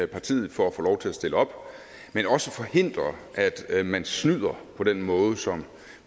partiet for at få lov til at stille op men også forhindre at man snyder på den måde som